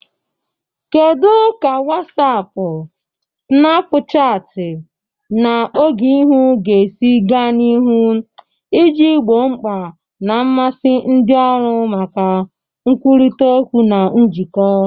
Kedu ka Wasiapu, Sinapuchati, na Ogeihu ga-esi gaa n'ihu iji gboo mkpa na mmasị ndị ọrụ maka nkwurịta okwu na njikọ?